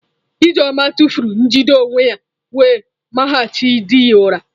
Ijeoma tụfuru njide onwe ya wee mahachi di ya ụra.